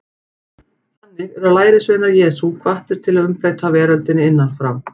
Þannig eru lærisveinar Jesú hvattir til að umbreyta veröldinni innan frá.